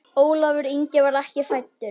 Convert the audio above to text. Ólafur Ingi var ekki fæddur.